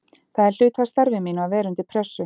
Það er hluti af starfi mínu að vera undir pressu.